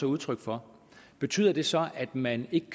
udtryk for betyder det så at man ikke